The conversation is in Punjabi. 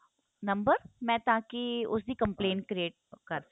ਨੰਬਰ ਮੈ ਤਾਂ ਕਿ ਉਸ ਦੀ complaint create ਕਰ ਸਕਾ